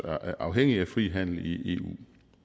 afhængige af fri handel i eu